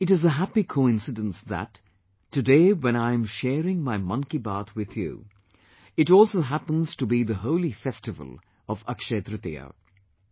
It is a happy coincidence that, today when I am sharing my 'Mann Ki Baat' with you, it also happens to be the holy festival of AkshayaTritiya'